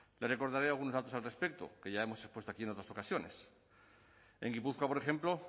le recordaré algunos datos al respecto que ya hemos expuesto aquí en otras ocasiones en gipuzkoa por ejemplo